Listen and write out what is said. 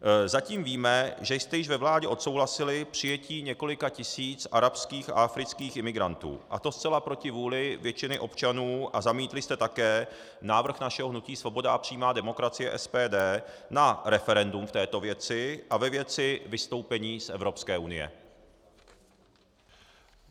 Zatím víme, že jste již ve vládě odsouhlasili přijetí několika tisíc arabských a afrických imigrantů, a to zcela proti vůli většiny občanů, a zamítli jste také návrh našeho hnutí Svoboda a přímá demokracie - SPD na referendum v této věci a ve věci vystoupení z Evropské unie.